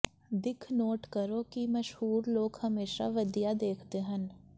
ਦਿੱਖ ਨੋਟ ਕਰੋ ਕਿ ਮਸ਼ਹੂਰ ਲੋਕ ਹਮੇਸ਼ਾਂ ਵਧੀਆ ਦੇਖਦੇ ਹਨ